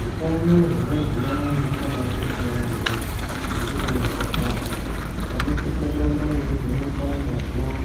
Utano wemadzimai hwakabakosha yaambo nekuti antu aya vanosisa kuramba veivhenekwa ngazi yavo